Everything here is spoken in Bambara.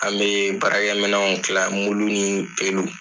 An bɛ baara kɛ minaw kila, mulu ni pelu.